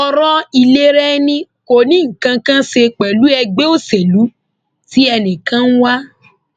ọrọ ìlera ẹni kò ní nǹkan kan án ṣe pẹlú ẹgbẹ òṣèlú tí ẹnìkan wà